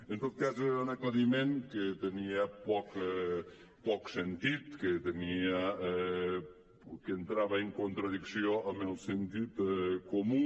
en tot cas era un aclariment que tenia poc sentit que entrava en contradicció amb el sentit comú